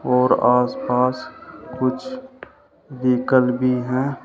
और आस पास कुछ भी है।